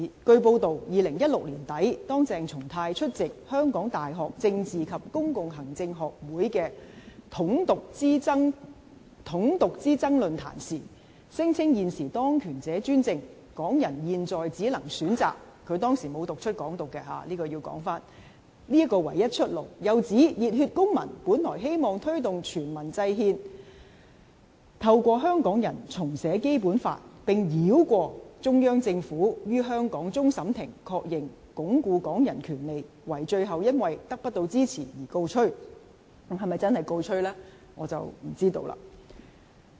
據報道 ，2016 年年底，當鄭松泰出席香港大學政治及公共行政學會的"統獨之爭論壇"時，聲稱現時當權者專政，港人現在只能選擇——他當時沒有讀出"港獨"——這個唯一出路，又指熱血公民本來希望推動全民制憲，透過香港人重寫《基本法》，並繞過中央政府於香港終審法院確認，鞏固港人權力，惟最後因得不到支持而告吹。